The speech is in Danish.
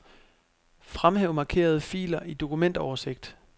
Fremhæv markerede filer i dokumentoversigt.